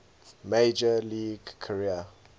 major league career